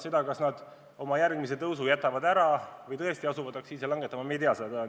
Seda, kas nad oma järgmise tõusu jätavad ära või tõesti asuvad aktsiise langetama – me ei tea seda plaani.